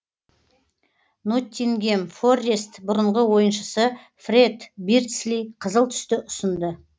ноттингем форрест бұрынғы ойыншысы фрэд бирдсли қызыл түсті ұсынды